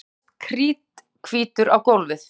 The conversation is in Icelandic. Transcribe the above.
Björn lagðist kríthvítur á gólfið.